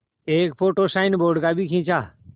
एक photo signboard का भी खींचा